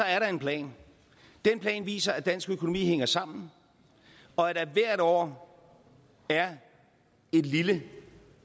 er der en plan den plan viser at dansk økonomi hænger sammen og at der hvert år er et lille